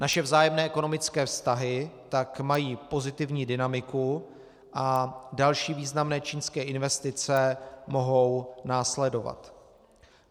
Naše vzájemné ekonomické vztahy tak mají pozitivní dynamiku a další významné čínské investice mohou následovat.